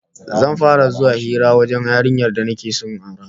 Zan fara zuwa hira wajen yarinyar da nake so in aura